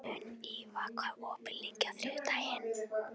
Sunniva, hvað er opið lengi á þriðjudaginn?